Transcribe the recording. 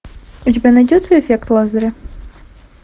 у тебя найдется эффект лазаря